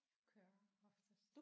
Jeg kører oftest